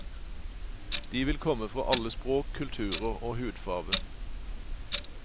De vil komme fra alle språk, kulturer og hudfarve.